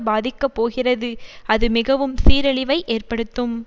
பாதிக்கப்போகிறது அது மிகவும் சீரழிவை ஏற்படுத்தும்